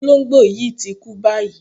Olóǹgbò yí ti kú báyìí.